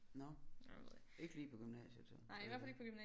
Nåh ikke lige på gymnasiet så eller hvad